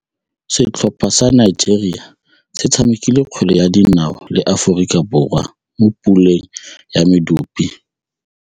Setlhopha sa Nigeria se tshamekile kgwele ya dinaô le Aforika Borwa mo puleng ya medupe.